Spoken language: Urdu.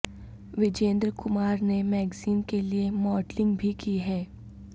وجیندر کمار نے میگزین کے لیے ماڈلنگ بھی کی ہے